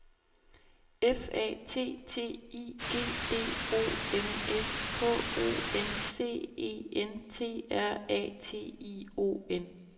F A T T I G D O M S K O N C E N T R A T I O N